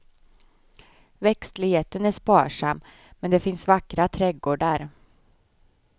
Växtligheten är sparsam, men det finns vackra trädgårdar.